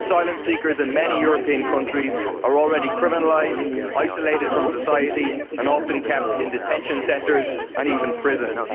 Asylum seekers in many European countries are already criminalised, isolated from society, and often kept in detention centres and even prisons.